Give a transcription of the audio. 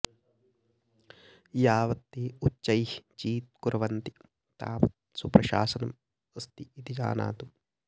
यावत् ते उच्चैः चीत्कुर्वन्ति तावत् सुप्रशासनम् अस्ति इति जानातु